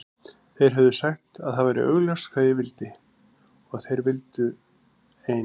Þeir höfðu sagt að það væri augljóst hvað ég vildi og að þeir vildu ein